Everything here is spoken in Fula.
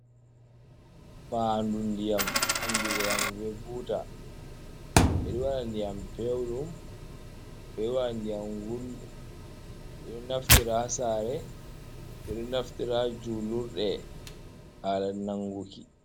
Fandu ndiyam andira yam be buta ɓeɗo waɗa ndiyam pewɗum, ɓeɗo waɗa ndiyam gulɗum, ɓeɗo naftira hasare, ɓeɗo naftira ha julurɗe hala nanguki.